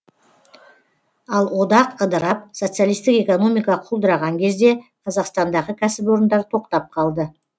ал одақ ыдырап социалистік экономика құлдыраған кезде қазақстандағы кәсіпорындар тоқтап қалды